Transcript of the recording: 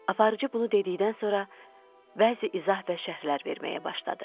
Aparıcı bunu dedikdən sonra bəzi izah və şərhlər verməyə başladı.